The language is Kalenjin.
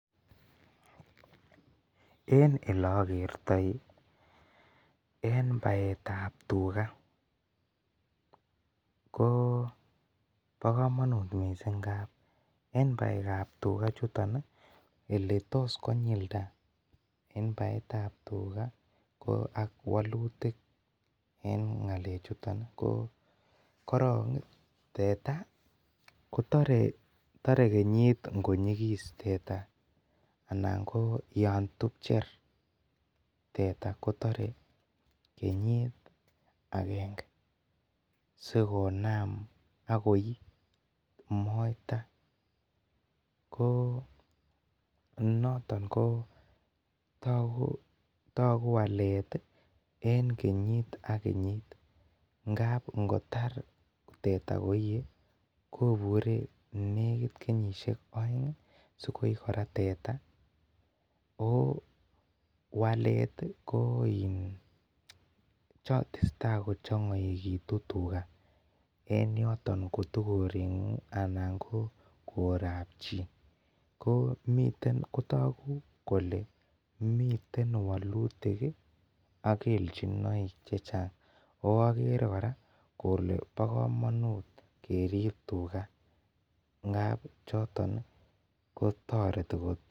Eng ele agertoi eng baet ab tugaah ko bo kamanut missing ngaap eng baek ab tugaah chutoon ele tos konyildaa baet ab tugaah ko ak walutiik eng ngalek chutoon ii ko korong ii teta ko tare kenyiit konyigis teta anan ko yaan tupcheer teta kotare kenyiit agengee sikonam ak komii moita ko notoon ko taguu waleet eng kenyiit ak kenyiit ngaap ingotaar teta koie kobure nekiit aeng sikoip kora teta ooh waleet Koo iin tesetai ko changaituun tugaah en yotoon koot ko korengung ii anan korap chii ko taguu kole miten walutiik ii ak kelchinaik che chaang oo agere kora kole bo kamanuut keriib tugaah ngaap chotoon ko taretii koot.